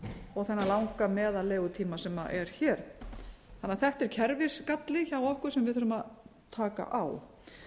og þennan langa meðal legutíma sem er hér þannig að þetta er kerfisgalli hjá okkur sem við þurfum að taka á